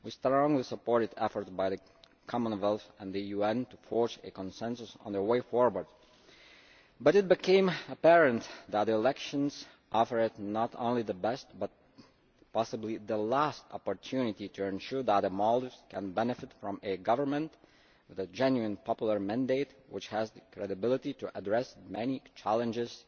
We strongly supported efforts by the Commonwealth and the UN to forge a consensus on the way forward, but it became apparent that the elections offered not only the best but possibly the last opportunity to ensure that the Maldives can benefit from a government with a genuine popular mandate which has the credibility to address the many challenges